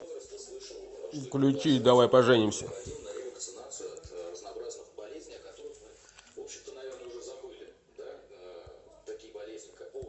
включи давай поженимся